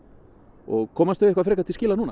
og komast þau eitthvað frekar til skila núna